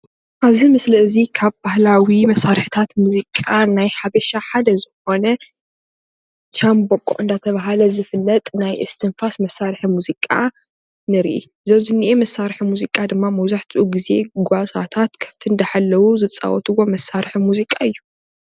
ኣብዚ ምስሊ እዚ ካብ ባህላዊ መሰራሕታት ሙዚቃን ናይ ሓበሻ ሓደዝኮነ ሻምቦቆ ኣናዳተባሃለ ዝፍለጥ ናይ እስትንፋስ መሳርሒ ሙዚቃ ንርኢ:: ዘብዝኒሀ መሰርሒ ሙዚቃ ድማ መብዛሕቲኡ ግዜ ጓሳታት ከፍቲ እንዳሓለዉ ዝፃወትዎ መሰራሒ ሙዚቃ እዩ::